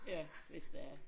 Ja hvis det er